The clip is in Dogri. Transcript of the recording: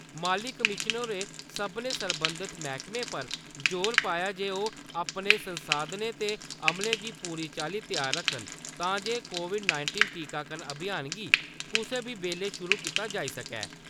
माली कमिशनर होरें सभनें सरबंधत मैह्कमें पर जोर पाया जे ओह् अपने संसाधनें ते अमले गी पूरी चाल्ली त्यार रक्खन तां जे कोविड-नाइटींन टीकाकरण अभियान गी कुसै बी बेल्लै शुरू कीता जाई सकै ।